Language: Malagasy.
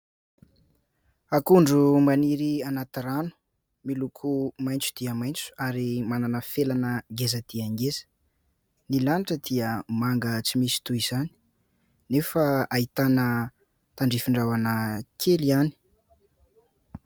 Akondro maniry anaty rano, miloko maitso dia maitso ary manana felana ngeza dia ngeza. Ny lanitra dia manga tsy misy toa izany nefa ahitana tandrifin-drahona kely ihany.